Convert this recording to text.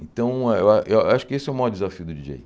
Então, eh eh eh eu acho que esse é o maior desafio do Di dJei.